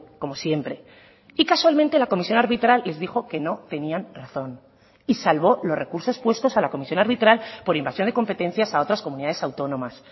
como siempre y casualmente la comisión arbitral les dijo que no tenían razón y salvó los recursos puestos a la comisión arbitral por invasión de competencias a otras comunidades autónomas